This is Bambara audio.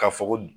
Ka fɔ ko